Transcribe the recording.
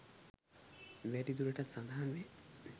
වැඩි දුරටත් සඳහන් වේ.